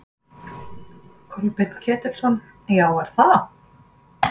Kolbeinn Ketilsson: Já, er það?